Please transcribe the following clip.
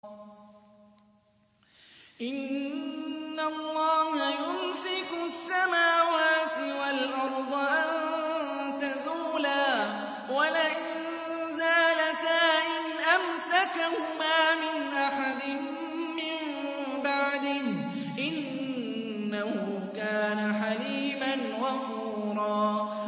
۞ إِنَّ اللَّهَ يُمْسِكُ السَّمَاوَاتِ وَالْأَرْضَ أَن تَزُولَا ۚ وَلَئِن زَالَتَا إِنْ أَمْسَكَهُمَا مِنْ أَحَدٍ مِّن بَعْدِهِ ۚ إِنَّهُ كَانَ حَلِيمًا غَفُورًا